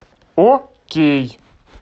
окей